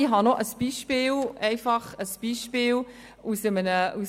Ich habe noch ein Beispiel aus dem «SpiezInfo».